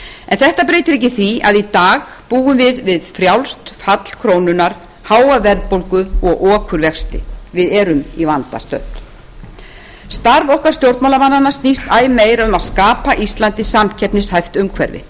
en þetta breytir ekki því að í dag búum við við frjálst fall krónunnar háa verðbólgu og okurvexti við erum í vanda stödd starf okkar stjórnmálamannanna snýst æ meir um að skapa íslandi samkeppnishæft umhverfi